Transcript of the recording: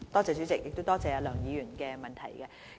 主席，多謝梁議員的補充質詢。